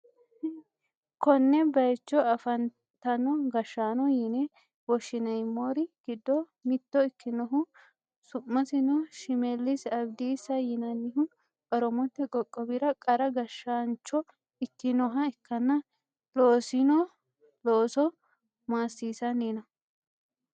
Konne bayicho afantino gashshaano yine woshshineemmori giddo mitto ikkinohu su'masino shimellisi abidissa yinannihu, oromote qoqqowira qara gashshaancho ikkinoha ikkanna, loosino looso maassisanni no.